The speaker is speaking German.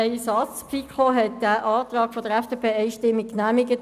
Ein Satz dazu: Die FiKo hat den Antrag der FDP einstimmig genehmigt.